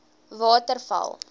waterval